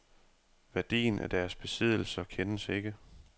Værdien af deres besiddelser kendes ikke.